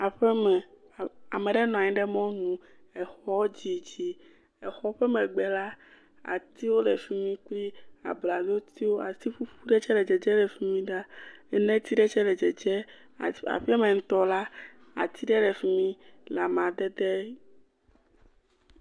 Aƒeme, ame ɖe nɔ anyi ɖe mɔnu. Exɔ dzidzi. Exɔ ƒe megbe la atiwo le fi mi, ʋee bladzotiwo ati ɖee tikutsetse ɖe tsɛ le dzedze le fi mi ɖaa. Enɛti ɖe tsɛ le dzedze. Aa aƒeaɛmɛ ŋutɔ la, ati ɖe le fi mi le amadede.